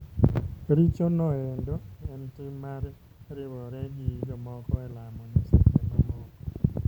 Richo noendo en tim mar riwore gi jomoko e lamo nyiseche mamoko.